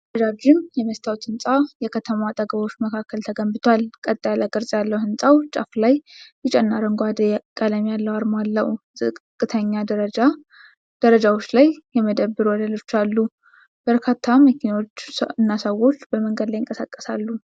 ረዣዥም የመስታወት ህንጻ የከተማ መንገዶች አጠገብ ተገንብቷል። ቀጥ ያለ ቅርጽ ያለው ሕንፃው ጫፍ ላይ ቢጫና አረንጓዴ ቀለም ያለው አርማ አለው። ዝቅተኛ ደረጃዎች ላይ የመደብር ወለሎች አሉ። በርካታ መኪኖችና ሰዎች በመንገድ ላይ ይንቀሳቀሳሉ።